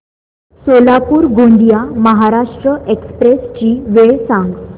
Solapur Gondia Maharashtra express ची वेळ सांगा